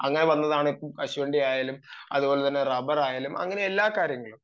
അങ്ങനെ വന്നതാണ് കശുവണ്ടി ആയാലും അതുപോലെതന്നെ റബ്ബർ ആയാലും അങ്ങനെ എല്ലാ കാര്യങ്ങളും